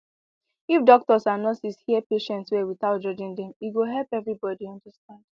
if doctors and nurses hear patient well without judging dem e go help everybody understand